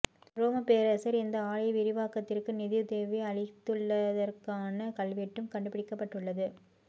ரோம பேரர்சர் இந்த ஆலய விவாக்கத்திற்கு நிதியுதவி அளித்துள்ளதற்கான கல்வெட்டும் கண்டுபிடிக்கப்பட்டுள்ளது